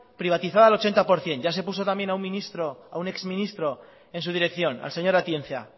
privatizada al ochenta por ciento ya se puso también a un ex ministro en su dirección al señor atienza